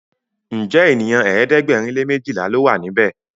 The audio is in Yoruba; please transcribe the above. Njé ènìyàn ẹ̀ẹ́dẹ̀gbẹ̀rin lè mejila ló wà níbè?